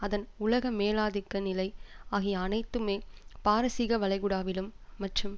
அதன் உலக மேலாதிக்க நிலை ஆகிய அனைத்துமே பாரசீகவளைகுடாவிலும் மற்றும்